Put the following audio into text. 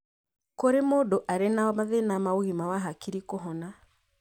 Kũrĩ mũndũ arĩ na mathĩna ma ũgima wa hakiri kũhona.